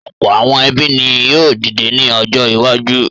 Ọ̀pọ̀ àwọn ẹbí ni yóò dìde ní ọjọ́ iwájú.